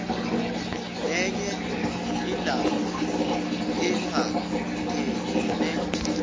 nenye indaba ephathelene